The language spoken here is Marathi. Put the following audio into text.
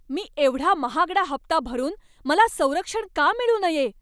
मी एवढा महागडा हप्ता भरून मला संरक्षण का मिळू नये?